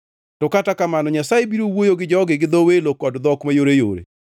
To kata kamano Nyasaye biro wuoyo gi jogi gi dho welo kod dhok mayoreyore.